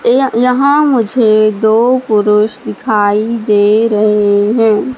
इया यहाँ मुझे दो पुरुष दिखाई दे रहे हैं।